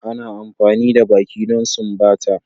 Ana amfani da baki don sumbata.